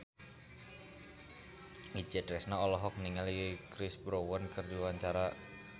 Itje Tresnawati olohok ningali Chris Brown keur diwawancara